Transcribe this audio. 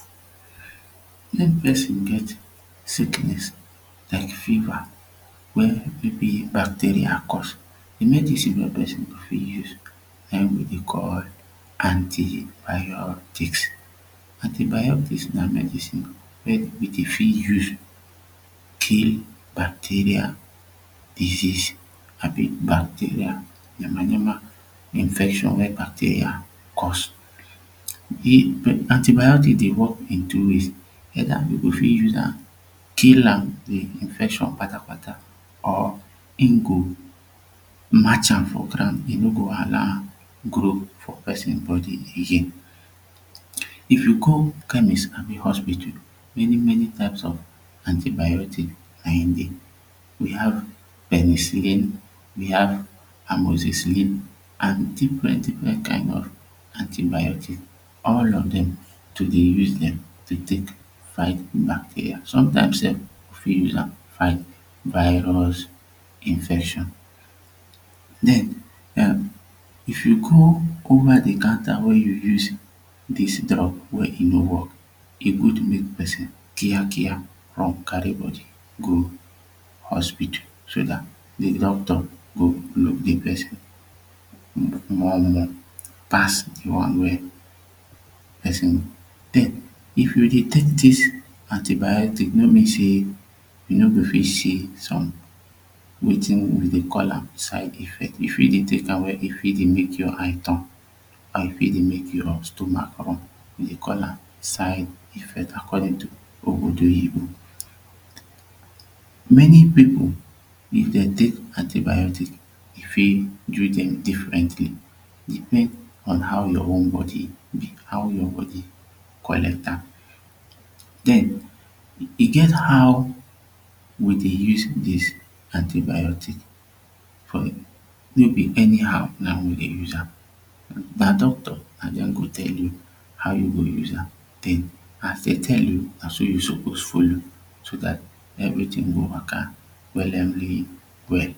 person get sickness like fever wey maybe bacteria cause de medicine wey person go fit use na him we dey call antibiotics Antibiotics na medicine wey we dey fit use kill bacteria disease abi bacteria de many many infection wey bacteria dey cause. Antibiotics dey work in two ways either we go fit use am kill am de infection kpatakpata or him go march am for ground e no go allow am grow for person body again if you come chemist abi hospital many many types of antibiotics na him dey we have penicillin we have amoxicillin an plenty plenty kind of antibiotics all of dem to dey use them to take fight bacteria some times sef we fit use am fight virus infection then um if you come go over de carton wey you use this drug wey e no work e good make person Kia Kia run carry body go hospital so dat de doctor go make de person more more passive de one wey person take den if you dey tek dis antibiotics no means say you no go see some wetin we dey call am side effects you fit dey tek am when e fit dey make your eyes turn and e fit dey make your stomach run we dey call am side effects according to ogbodoyibo many people if dem tek antibiotics e fit do them differently depends on how your own body dey how your body collects am then e get how we dey use dis antibiotics for maybe anyhow na him we dey use am na doctor na den go tell you how you go use am dey as dey tell you na do you suppose follow so dat everytin go waka wellemly well